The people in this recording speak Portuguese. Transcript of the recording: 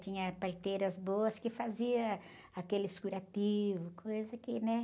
Tinha parteiras boas que faziam aqueles curativos, coisa que, né?